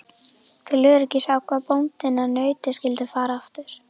Til öryggis ákvað bóndinn að nautið skyldi fara aftur.